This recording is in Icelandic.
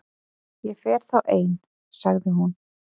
Ég fer þá ein- sagði hún.